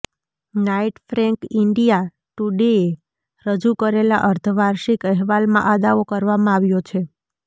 night Frank India ટુડેએ રજૂ કરેલા અર્ધવાર્ષિક અહેવાલમાં આ દાવો કરવામાં આવ્યો છે